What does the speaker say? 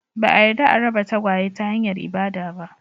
Ba a yarda a raba tagwaye ta hanyar ibada ba